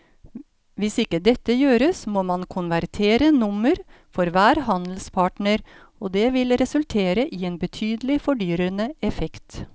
Hvis ikke dette gjøres må man konvertere nummer for hver handelspartner og det vil resultere i en betydelig fordyrende effekt.